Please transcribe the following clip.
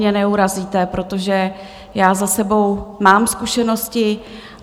Mě neurazíte, protože já za sebou mám zkušenosti.